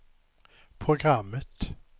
programmet